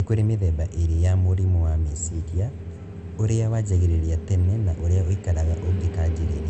Nĩ kũrĩ mĩthemba ĩrĩ ya mũrimũ wa meciria, ũrĩa wanjagĩrĩria tene na ũrĩa ũikaraga ũngĩkanjĩrĩria